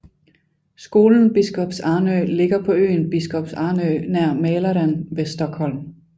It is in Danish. Skolen Biskops Arnö ligger på øen Biskops Arnö nær Mälaren ved Stockholm